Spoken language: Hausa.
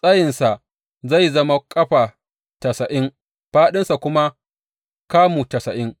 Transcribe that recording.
Tsayinsa zai zama ƙafa tasa’in, fāɗinsa kuma kamu tasa’in.